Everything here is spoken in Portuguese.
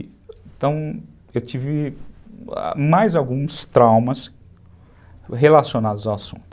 Então, eu tive mais alguns traumas relacionados ao assunto.